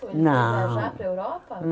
Não, ele foi viajar para a Europa?